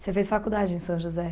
Você fez faculdade em São José?